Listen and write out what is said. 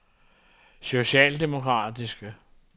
socialdemokratiske